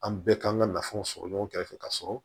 An bɛɛ kan ka nafolo sɔrɔ ɲɔgɔn kɛrɛfɛ ka sɔrɔ